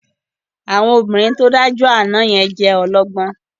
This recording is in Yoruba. Àwọn obìnrin tó dájọ́ àná yẹn jẹ́ ọlọ́gbọ́n